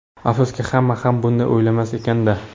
Afsuski, hamma ham bunday o‘ylamas ekan-da!